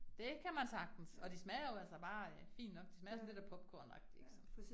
Det kan man sagtens, og de smager jo altså bare øh fint nok, de smager sådan lidt af popcorn agtig ik sådan